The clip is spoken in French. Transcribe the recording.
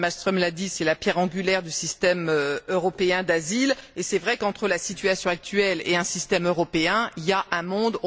Mme Malmström l'a dit, c'est la pierre angulaire du système européen d'asile et c'est vrai qu'entre la situation actuelle et un système européen, il y a un monde.